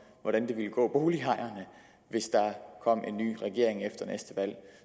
hvordan det vil gå boligejerne hvis der kom en ny regering efter næste valg